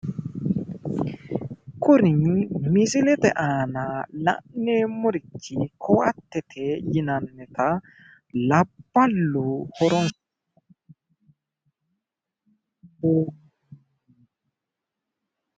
Kuri misilete aana la'neemmorichi koaattete yinannita labballu horonsiranota